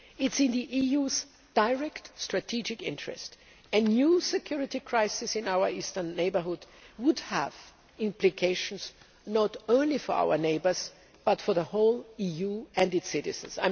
It is in the EU's direct strategic interest a new security crisis in our eastern neighbourhood would have implications not only for our neighbours but also for the whole EU and its citizens.